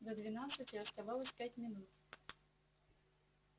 до двенадцати оставалось пять минут